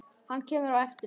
Hann kemur á eftir henni.